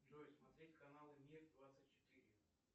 джой смотреть каналы мир двадцать четыре